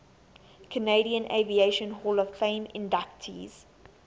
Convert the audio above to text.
canadian aviation hall of fame inductees